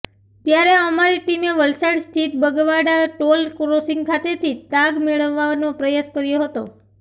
ત્યારે અમારી ટીમે વલસાડ સ્થિત બગવાડા ટોલ ક્રોસિંગ ખાતેથી તાગ મેળવવા નો પ્રયાસ કર્યો હતો